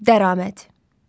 Dəraməd.